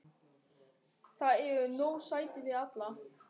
Þar eru nóg sæti fyrir alla.